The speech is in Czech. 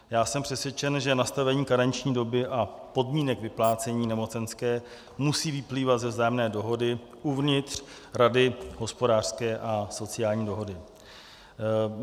Já jsem přesvědčen, že nastavení karenční doby a podmínek vyplácení nemocenské musí vyplývat ze vzájemné dohody uvnitř Rady hospodářské a sociální dohody.